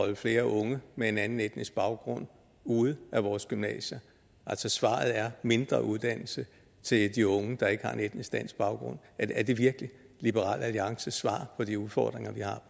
holde flere unge med en anden etnisk baggrund ude af vores gymnasier altså svaret er mindre uddannelse til de unge der ikke har en etnisk dansk baggrund er det virkelig liberal alliances svar på de udfordringer